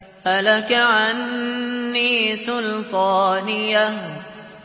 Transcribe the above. هَلَكَ عَنِّي سُلْطَانِيَهْ